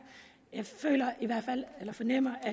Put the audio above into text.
og jeg fornemmer